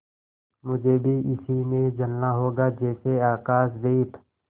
मुझे भी इसी में जलना होगा जैसे आकाशदीप